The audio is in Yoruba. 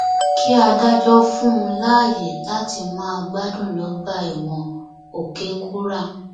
kí adájọ fún un láàyè láti máa gbádùn lọgbà ẹwọn òkèkúrà